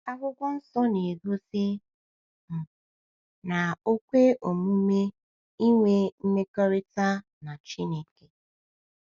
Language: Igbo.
Akwụkwọ Nsọ na-egosi um na o kwe omume ịnwe mmekọrịta na Chineke.